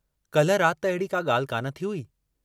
काल्ह रात त अहिड़ी का ॻाल्हि कान थी हुई।